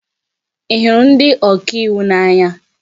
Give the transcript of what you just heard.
Ị hụrụ ndị ọka iwu n'anya?